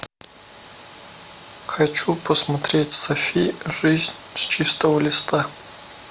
хочу посмотреть софи жизнь с чистого листа